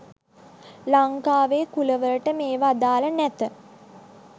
ලංකාවේ කුල වලට මේවා අදාළ නැත